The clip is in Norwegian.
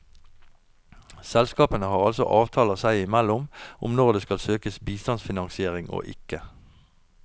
Selskapene har altså avtaler seg imellom om når det skal søkes bistandsfinansiering og ikke.